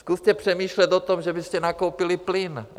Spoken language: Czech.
Zkuste přemýšlet o tom, že byste nakoupili plyn.